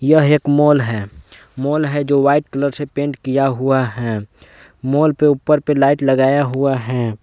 यह एक मॉल है मॉल है जो व्हाइट कलर से पेंट किया हुआ है मॉल के ऊपर पे लाइट लगाया हुआ है।